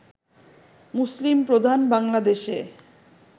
মুসলিম প্রধান বাংলাদেশে